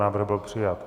Návrh byl přijat.